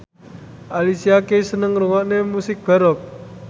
Alicia Keys seneng ngrungokne musik baroque